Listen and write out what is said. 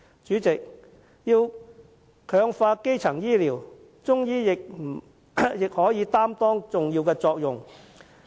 主席，要強化基層醫療，中醫藥也可擔當重要角色。